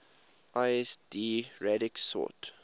lsd radix sort